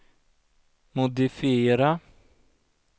modifiera